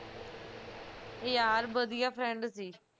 ਯਾਰ ਵਧਿਆ friend ਸੀ